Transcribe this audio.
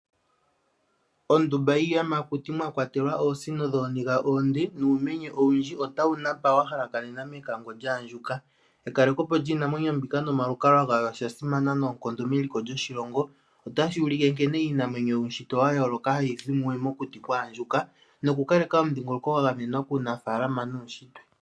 Oondumba yiiyamakuti mwa kwatelwa oosino dhooniga oonde nuumenye owundji otawu napa wa halakanena mekango lyaandjuka. Ekalekepo lyiinamwenyo mbika nomalukalwa gawo osha simana noonkondo meliko lyoshilongo, otashi ulike nkene iinamwenyo yuutshitwe wa yooloka hayi zi mumwe mokuti kwaandjuka nokukaleka omudhingoloko gwa gamenwa kuunafaalama nuutshitwe.